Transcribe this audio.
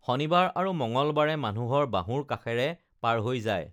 শনিবাৰ আৰু মঙগলবাৰে মানুহৰ বাহুৰ কাষেৰে পাৰ হৈ যায়